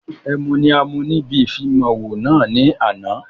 Ẹmu ni a mu níbi ìfimawo náà ni àná